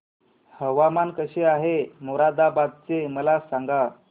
हवामान कसे आहे मोरादाबाद चे मला सांगा